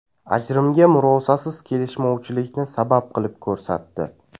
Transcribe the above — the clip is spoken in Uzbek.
Ajrimga murosasiz kelishmovchilikni sabab qilib ko‘rsatdi.